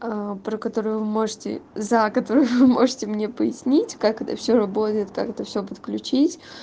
про которую вы можете за которую вы можете мне пояснить как это все работает как это все подключить